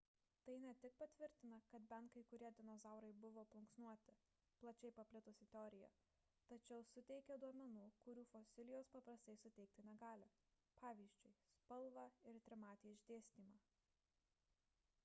tai ne tik patvirtina kad bent kai kurie dinozaurai buvo plunksnuoti plačiai paplitusi teorija tačiau suteikia duomenų kurių fosilijos paprastai suteikti negali pvz. spalvą ir trimatį išdėstymą